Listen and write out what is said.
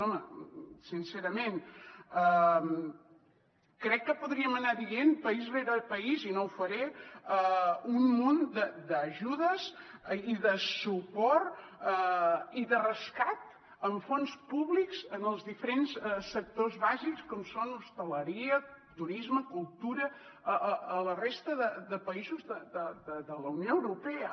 home sincerament crec que podríem anar dient país rere país i no ho faré un munt d’ajudes i de suport i de rescat amb fons públics en els diferents sectors bàsics com són hostaleria turisme cultura a la resta de països de la unió europea